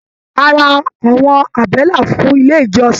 A rà àwọn àbẹ́là fún ilé ìjọsìn.